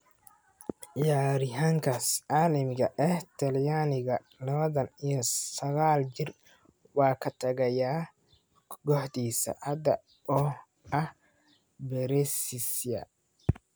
Ciyaaryahankaas caalamiga ee Talyaaniga, lawatan iyo saqal jir, waa ka tagaya kooxdiisa hadda oo ah Brescia.